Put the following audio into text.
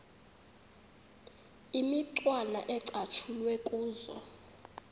imicwana ecatshulwe kuzo